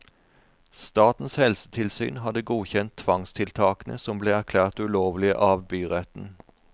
Statens helsetilsyn hadde godkjent tvangstiltakene som ble erklært ulovlige av byretten.